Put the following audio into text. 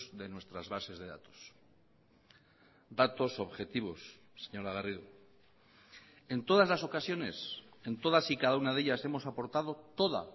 de nuestras bases de datos datos objetivos señora garrido en todas las ocasiones en todas y cada una de ellas hemos aportado toda